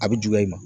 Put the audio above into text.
A bɛ juguya i ma